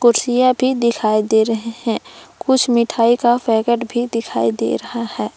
कुर्सियां भी दिखाई दे रहे हैं। कुछ मिठाई का पैकेट भी दिखाई दे रहा है।